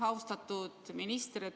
Austatud minister!